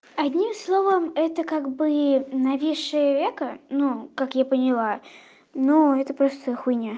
одним словом это как бы нависшее веко ну как я поняла но это просто хуйня